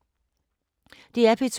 DR P2